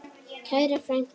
Kæra frænka.